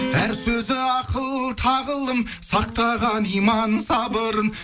әр сөзі ақыл тағылым сақтаған иман сабырын